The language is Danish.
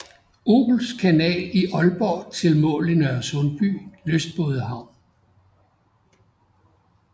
Obels kanal i Aalborg til mål i Nørresundby Lystbådehavn